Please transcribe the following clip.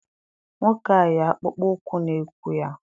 Nwoke a yi akpụkpọ ụkwụ na ụkwụ ya.